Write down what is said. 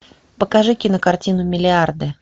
покажи кинокартину миллиарды